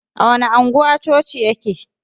A wani anguwa coci yake?